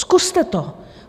Zkuste to!